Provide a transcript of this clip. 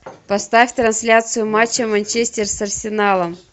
поставь трансляцию матча манчестер с арсеналом